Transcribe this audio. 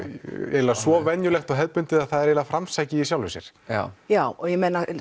eiginlega svo venjulegt og hefðbundið að það er eiginlega framsækið í sjálfu sér já já og ég meina